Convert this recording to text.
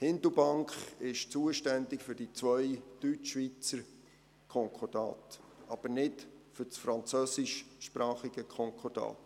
Hindelbank ist zuständig für die zwei Deutschschweizer Konkordate, aber nicht für das französischsprachige Konkordat.